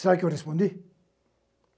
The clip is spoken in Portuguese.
Sabe o que eu respondi?